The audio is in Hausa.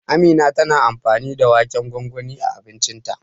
Amina tana amfani da waken gwangwani a abincinta.